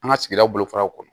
An ka sigidaw bolofaraw kɔnɔ